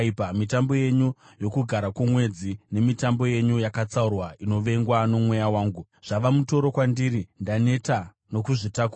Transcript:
Mitambo yenyu yoKugara kwoMwedzi nemitambo yenyu yakatsaurwa inovengwa nomweya wangu. Zvava mutoro kwandiri; ndaneta nokuzvitakura.